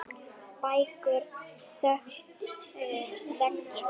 Bækur þöktu veggi.